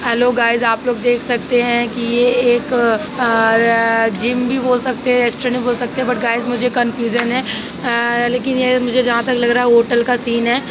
Hello guys आप लोग देख सकते है कि यह एक और जिम भी बोल सकते हैं। रेस्टोरेंट भी बोल सकते हैं बट गाइस मुझे कन्फ़्यूश़्‌न्‌ है लेकिन यह मुझे जहाँ तक लग रहा है। होटल का सीन है।